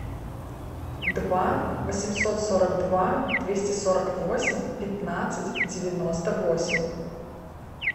два восемьсот сорок два двести сорок восемь пятнадцать девяносто восемь